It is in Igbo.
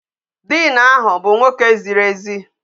Diin ahụ bụ nwoke ziri ezi.